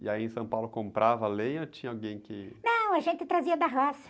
E aí em São Paulo comprava lenha ou tinha alguém que... Não, a gente trazia da roça.